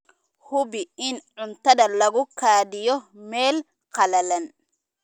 Hubi in cuntada lagu kaydiyo meel qalalan.